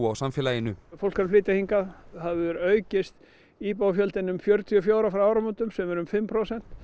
samfélaginu fólk er að flytja hingað það hefur aukist íbúafjöldinn um fjörutíu og fjórir frá áramótum sem er um fimm prósent